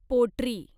पोटरी